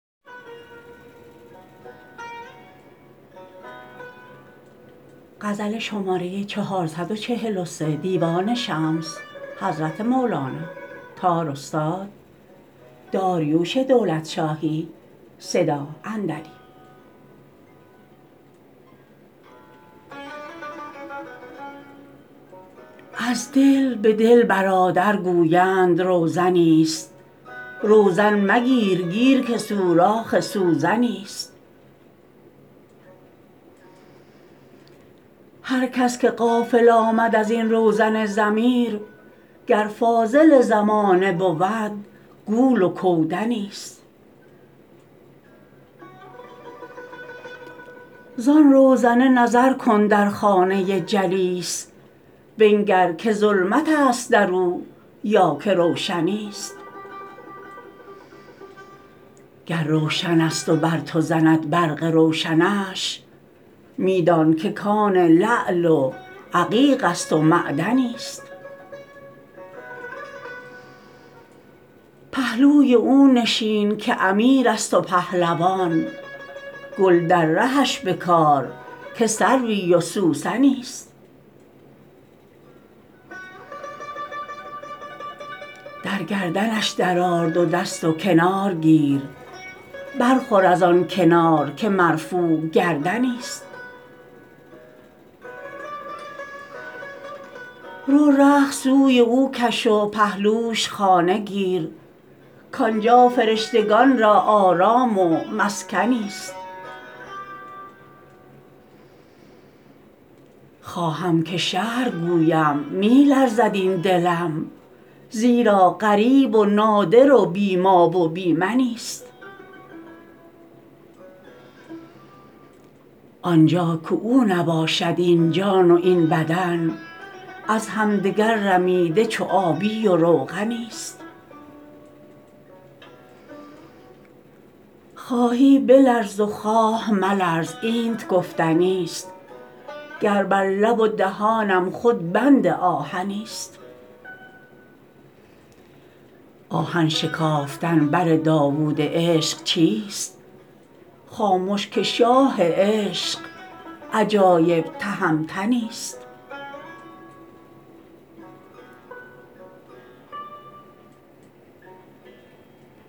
از دل به دل برادر گویند روزنی ست روزن مگیر گیر که سوراخ سوزنی ست هر کس که غافل آمد از این روزن ضمیر گر فاضل زمانه بود گول و کودنی ست زان روزنه نظر کن در خانه جلیس بنگر که ظلمت است در او یا که روشنی ست گر روشن است و بر تو زند برق روشنش می دان که کان لعل و عقیق است و معدنی ست پهلوی او نشین که امیر است و پهلوان گل در رهش بکار که سروی و سوسنی ست در گردنش درآر دو دست و کنار گیر برخور از آن کنار که مرفوع گردنی ست رو رخت سوی او کش و پهلوش خانه گیر کان جا فرشتگان را آرام و مسکنی ست خواهم که شرح گویم می لرزد این دلم زیرا غریب و نادر و بی ما و بی منی ست آن جا که او نباشد این جان و این بدن از همدگر رمیده چو آبی و روغنی ست خواهی بلرز و خواه ملرز اینت گفتنی ست گر بر لب و دهانم خود بند آهنی ست آهن شکافتن بر داوود عشق چیست خامش که شاه عشق عجایب تهمتنی ست